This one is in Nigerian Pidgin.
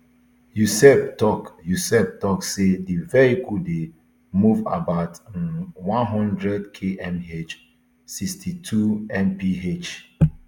yoseb tok yoseb tok say di vehicle dey move about um one hundred kmh sixty-twomph